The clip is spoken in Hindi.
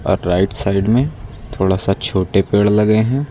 और राइट साइड में थोड़ा सा छोटे पेड़ लगे है।